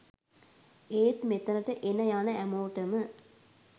ඒත් මෙතනට එන යන හැමෝටම